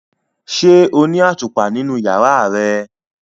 Ṣe o ni atupa ninu yara rẹ?